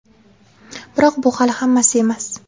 Biroq, bu hali hammasi emas.